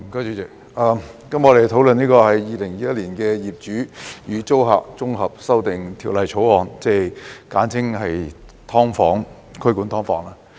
主席，今天我們討論《2021年業主與租客條例草案》，簡稱"劏房"規管。